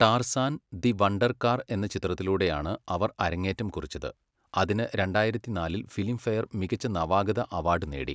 Tarzan, the wonder car എന്ന ചിത്രത്തിലൂടെയാണ് അവർ അരങ്ങേറ്റം കുറിച്ചത്, അതിന് രണ്ടായിരത്തി നാലിൽ ഫിലിംഫെയർ മികച്ച നവാഗത അവാഡ് നേടി.